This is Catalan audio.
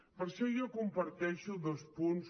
per això jo comparteixo dos punts